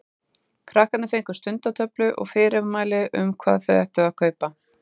Krakkarnir fengu stundatöflu og fyrirmæli um hvað þau ættu að kaupa.